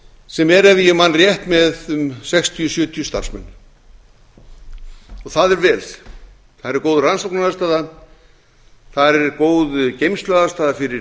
sem er ef ég man rétt með um sextíu til sjötíu starfsmenn og það er vel þar er góð rannsóknaraðstaða þar er góð geymsluaðstaða fyrir